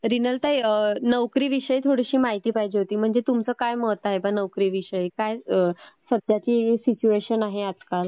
रिनलताई, नोकरी विषयी थोडी माहिती हवी होती. म्हणजे तुमचं काय मत आहे बा नोकरी विषयी? काय सद्धयाची सिच्युएशन आहे आजकाल?